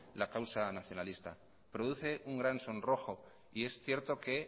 la causa nacionalista produce un gran sonrojo y es cierto que